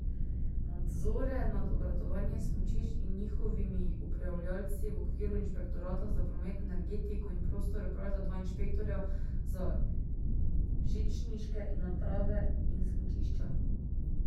Nadzore nad obratovanjem smučišč in njihovimi upravljavci v okviru inšpektorata za promet, energetiko in prostor opravljata dva inšpektorja za žičniške naprave in smučišča.